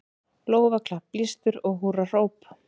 Lófaklapp, blístur og húrrahróp.